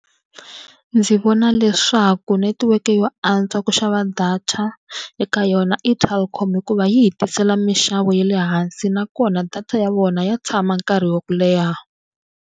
Ndzi vona leswaku netiweke yo antswa ku xava data eka yona i Telkom hikuva yi hi tisela minxavo ya le hansi nakona data ya vona ya tshama nkarhi wa ku leha.